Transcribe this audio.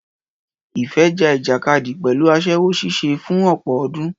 Ìfẹ́ ja ìjàkadì pẹ̀lú aṣẹ́wó ṣíṣe fún ọ̀pọ̀ ọdún.